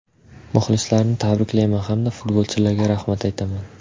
Muxlislarni tabriklayman hamda futbolchilarga rahmat aytaman”.